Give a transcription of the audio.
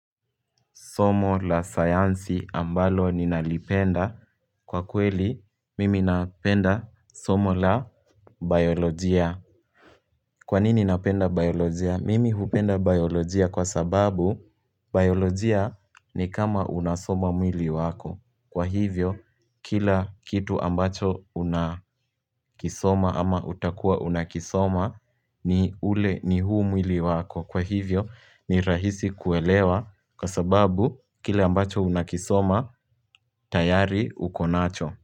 Somo la sayansi ambalo ninalipenda kwa kweli mimi napenda somo la biolojia Kwanini napenda biolojia? Mimi hupenda biolojia kwa sababu biolojia ni kama unasoma mwili wako Kwa hivyo kila kitu ambacho unakisoma ama utakua unakisoma ni ule ni huu mwili wako Kwa hivyo ni rahisi kuelewa kwa sababu kile ambacho unakisoma tayari ukonacho.